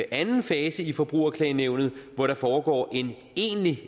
anden fase i forbrugerklagenævnet hvor der foregår en egentlig